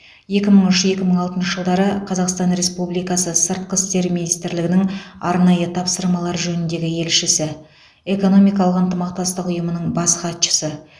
екі мың үш екі мың алтыншы жылдары қазақстан республикасы сыртқы істер министрлігінің арнайы тапсырмалар жөніндегі елшісі экономикалық ынтымақтастық ұйымының бас хатшысы